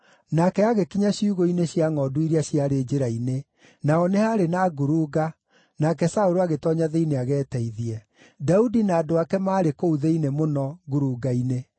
Nake agĩkinya ciugũ-inĩ cia ngʼondu iria ciarĩ njĩra-inĩ; naho nĩ haarĩ na ngurunga, nake Saũlũ agĩtoonya thĩinĩ ageteithie. Daudi na andũ ake maarĩ kũu thĩinĩ mũno, ngurunga-inĩ.